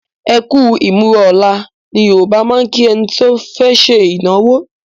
"Ekú ìmúra ọ̀la". Ní Yorùbá máa ń kí ẹni tí ó fẹ́ ṣe ìnáwó